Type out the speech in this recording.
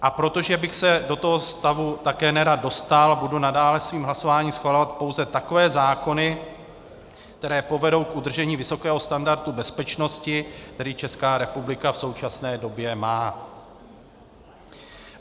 A protože bych se do toho stavu také nerad dostal, budu nadále svým hlasováním schvalovat pouze takové zákony, které povedou k udržení vysokého standardu bezpečnosti, který Česká republika v současné době má.